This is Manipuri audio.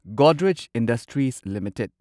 Godrej Industries limited